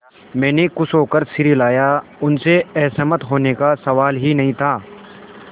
मैंने खुश होकर सिर हिलाया उनसे असहमत होने का सवाल ही नहीं था